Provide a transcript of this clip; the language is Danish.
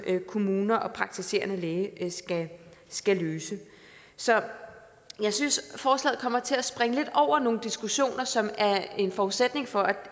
kommuner og praktiserende læger skal løfte så jeg synes at forslaget kommer til at springe lidt over nogle diskussioner som er en forudsætning for